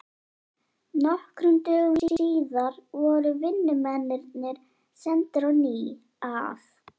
Nokkrum dögum síðar voru vinnumennirnir sendir á ný að